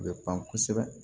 U bɛ pan kosɛbɛ